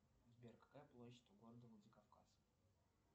сбер какая площадь у города владикавказ